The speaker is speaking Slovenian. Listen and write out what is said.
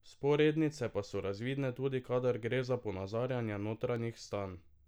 Vzporednice pa so razvidne tudi kadar gre za ponazarjanje notranjih stanj.